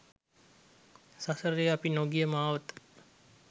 සසරේ අපි නොගිය මාවත